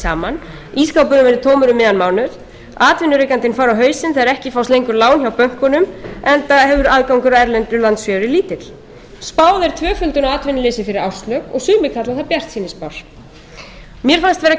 mánuð atvinnurekandinn fari á hausinn þegar ekki fást lengur lán hjá bönkunum enda hefur aðgangur að erlendu lánsfé verið lítill spáð er tvöföldun á atvinnuleysi fyrir árslok ég sumir kalla það bjartsýnisspár mér fannst vera